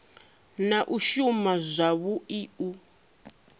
na u shuma zwavhui u